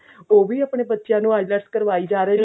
ਉਹ ਵੀ ਆਪਣੇ ਬੱਚਿਆਂ ਨੂੰ IELTS